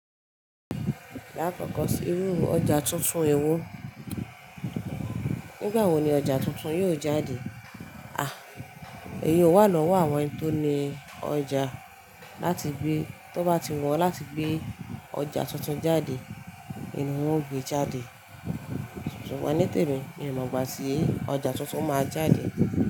Lákòókò sí ríru ọjà tuntun ewo. Nígbà wo ni ọjà tuntun yóò jáde? Àh, èyíhun wà lọ́wọ́ àwọn tó ni ọjà láti gbé. Tó bá ti wọ́n láti gbé ọjà tuntun jáde, ìn hun ń gbe jáde. Sùgbón nítèmi, mi ò mọ̀ bá tí ọjà tuntun máa jáde.